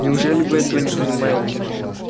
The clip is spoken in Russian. неужели вы этого не понимаете